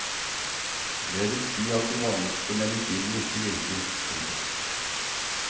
Det vil si at de vanligste medisinene ikke virker. punktum